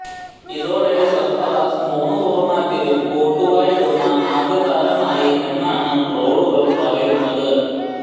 ഇതോടെ സർഫറാസ് മൂന്ന് ഫോർമാറ്റിലും കോട്ടുവായിടുന്ന ആദ്യ താരമായി എന്നാണ് ട്രോളുകൾ പറയുന്നത്